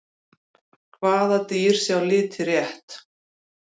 hvaða dýr sjá liti rétt